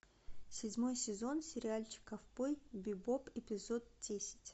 седьмой сезон сериальчика ковбой бибоп эпизод десять